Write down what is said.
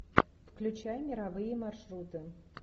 включай мировые маршруты